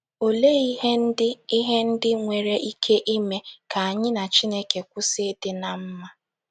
Olee ihe ndị ihe ndị nwere ike ime ka anyị na Chineke kwụsị ịdị ná mma?